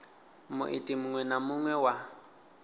muiti muṅwe na muṅwe wa